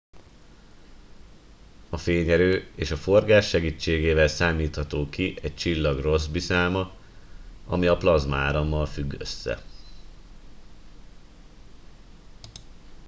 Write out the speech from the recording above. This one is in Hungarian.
a fényerő és a forgás segítségével számítható ki egy csillag rossby száma ami a plazmaárammal függ össze